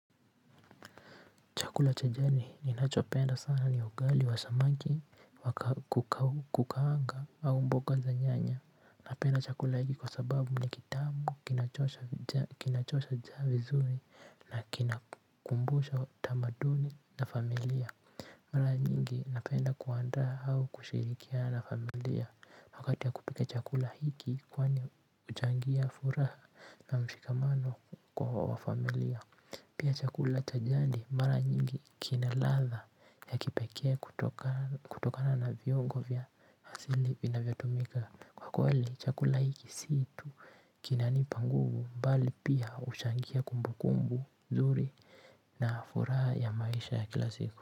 Chakula cha jani ninachopenda sana ni ugali wa samaki wa kukaanga au mboga za nyanya. Napenda chakula hiki kwa sababu ni kitamu kinachoosha njaa vizuri na kinakumbusha tamaduni na familia. Mara nyingi napenda kuandaa au kushirikiana na familia wakati wa kupika chakula hiki kwani uchangia furaha na mshikamano kwa wafamilia. Pia chakula cha jani mara nyingi kina ladha ya kipekee kutoka kutokana na viongo vya asili vinavyotumika. Kwa kweli chakula hiki si tu kinanipa nguvu, mbali pia huchangia kumbu kumbu nzuri na furaha ya maisha ya kila siku.